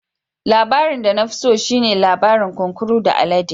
Labarin da na fi so shi ne labarin kunkuru da alade.